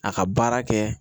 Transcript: A ka baara kɛ